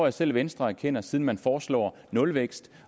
at selv venstre erkender siden man foreslår nulvækst